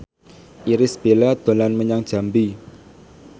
Irish Bella dolan menyang Jambi